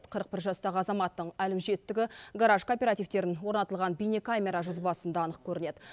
қырық бір жастағы азаматтың әлімжеттігі гараж кооперативтерін орнатылған бейнекамера жазбасында анық көрінеді